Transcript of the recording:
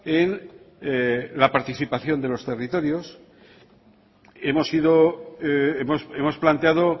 en la participación de los territorios hemos ido hemos planteado